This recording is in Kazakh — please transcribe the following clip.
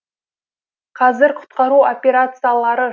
қазір құтқару операциялары